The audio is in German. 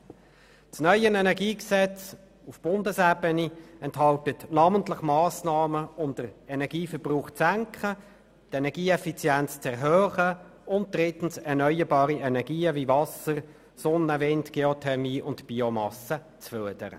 Das neue Energiegesetz auf Bundesebene enthält Massnahmen um den Energieverbrauch zu senken, die Energieeffizienz zu erhöhen und erneuerbare Energien wie Wasser, Sonne, Wind, Geothermie und Biomasse zu fördern.